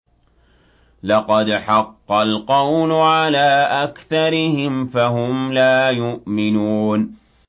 لَقَدْ حَقَّ الْقَوْلُ عَلَىٰ أَكْثَرِهِمْ فَهُمْ لَا يُؤْمِنُونَ